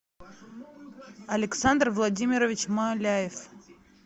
александр владимирович маляев